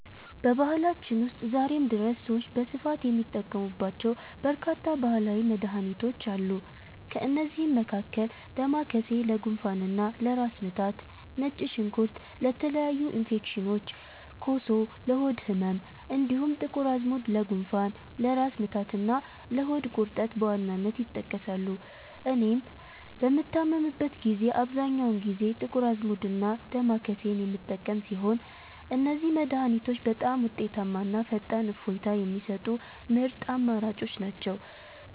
በባህላችን ውስጥ ዛሬም ድረስ ሰዎች በስፋት የሚጠቀሙባቸው በርካታ ባህላዊ መድኃኒቶች አሉ። ከእነዚህም መካከል ዳማከሴ ለጉንፋንና ለራስ ምታት፣ ነጭ ሽንኩርት ለተለያዩ ኢንፌክሽኖች፣ ኮሶ ለሆድ ህመም፣ እንዲሁም ጥቁር አዝሙድ ለጉንፋን፣ ለራስ ምታትና ለሆድ ቁርጠት በዋናነት ይጠቀሳሉ። እኔም በምታመምበት ጊዜ አብዛኛውን ጊዜ ጥቁር አዝሙድና ዳማከሴን የምጠቀም ሲሆን፣ እነዚህ መድኃኒቶች በጣም ውጤታማና ፈጣን እፎይታ የሚሰጡ ምርጥ አማራጮች ናቸው።